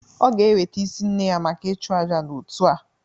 Ọ ga-eweta isi nne ya maka ịchụ àjà n'otu a